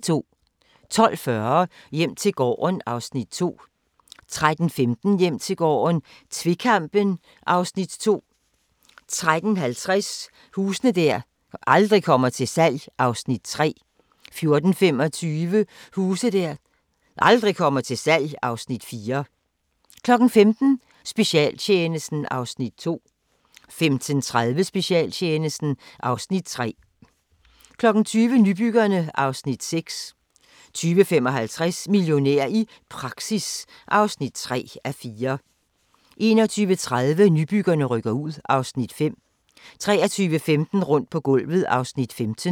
12:40: Hjem til gården (Afs. 2) 13:15: Hjem til gården - tvekampen (Afs. 2) 13:50: Huse der aldrig kommer til salg (Afs. 3) 14:25: Huse der aldrig kommer til salg (Afs. 4) 15:00: Specialtjenesten (Afs. 2) 15:30: Specialtjenesten (Afs. 3) 20:00: Nybyggerne (Afs. 6) 20:55: Millionær i praktik (3:4) 21:30: Nybyggerne rykker ud (Afs. 5) 23:15: Rundt på gulvet (Afs. 15)